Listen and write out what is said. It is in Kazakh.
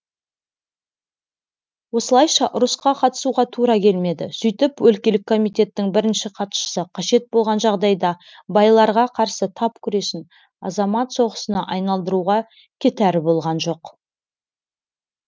осылайша ұрысқа қатысуға тура келмеді сөйтіп өлкелік комитеттің бірінші хатшысы қажет болған жағдайда байларға қарсы тап күресін азамат соғысына айналдыруға кетәрі болған жоқ